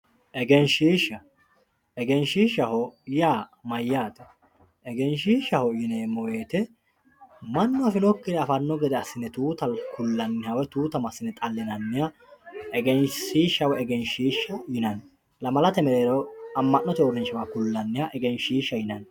Egenshiisha egenshisha yaa mayaate egenshiishaho yineemo woyite manu afinokiha afano gede asine tuutaho kulaniha woyi tuuta masine xalinaniha egenshisha woyi egenshiishaho yinani lamalate mereero ama`note mereero kulaniha egenshiishaho yinani.